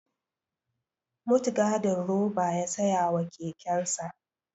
Mutgadin roba ya siya wa kekensa